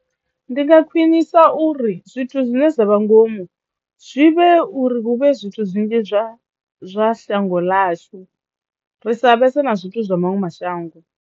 Ndi nga khwinisa uri zwithu zwine zwa vha ngomu zwi vhe uri hu vhe zwithu zwinzhi zwa zwa shango ḽashu ri sa vhese na zwithu zwa maṅwe mashango.